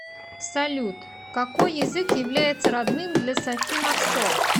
салют какои язык является родным для софи марсо